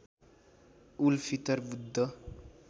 उल Fitr Buddha